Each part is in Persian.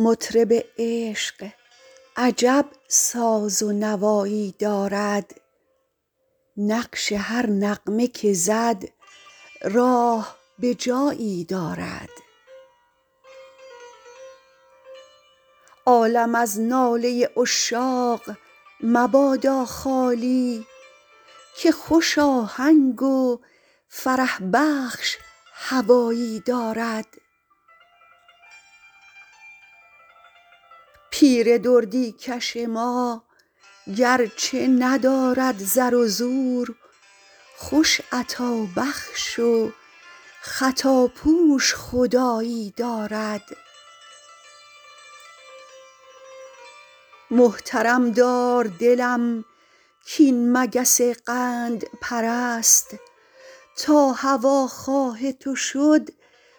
مطرب عشق عجب ساز و نوایی دارد نقش هر نغمه که زد راه به جایی دارد عالم از ناله عشاق مبادا خالی که خوش آهنگ و فرح بخش هوایی دارد پیر دردی کش ما گرچه ندارد زر و زور خوش عطابخش و خطاپوش خدایی دارد محترم دار دلم کاین مگس قندپرست تا هواخواه تو شد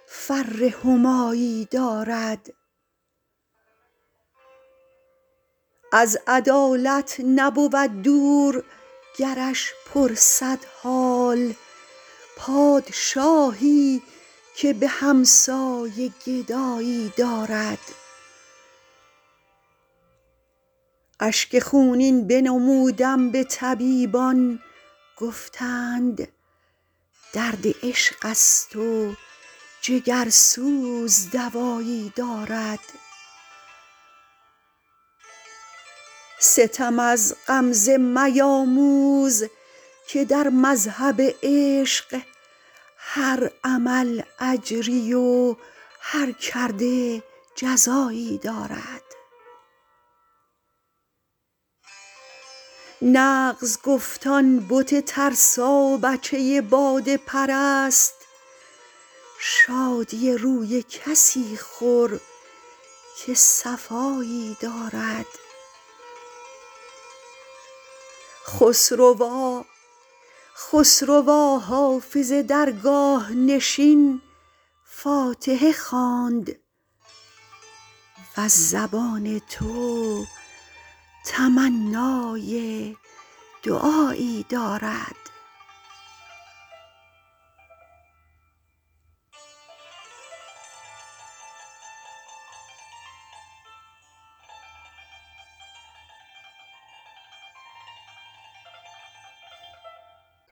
فر همایی دارد از عدالت نبود دور گرش پرسد حال پادشاهی که به همسایه گدایی دارد اشک خونین بنمودم به طبیبان گفتند درد عشق است و جگرسوز دوایی دارد ستم از غمزه میاموز که در مذهب عشق هر عمل اجری و هر کرده جزایی دارد نغز گفت آن بت ترسابچه باده پرست شادی روی کسی خور که صفایی دارد خسروا حافظ درگاه نشین فاتحه خواند وز زبان تو تمنای دعایی دارد